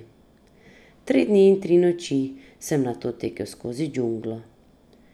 Tri dni in tri noči sem nato tekel skozi džunglo.